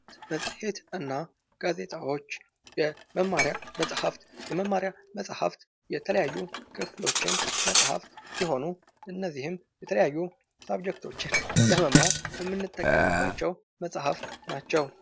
መጽሄት እና ጋዜጣዎች የመማሪያ መጽሃፍት ፡-የመማርያ መፅሐፍት የተለያዩ ክፍሎችን መጽሐፍት ሲሆኑ የተለያዩ ሰብጀክቶችን ለመማር የምንጠቀምባቸው ናቸው።